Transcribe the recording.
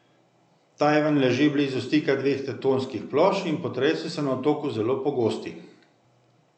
Tajvan leži blizu stika dveh tektonskih plošč in potresi so na otoku zelo pogosti.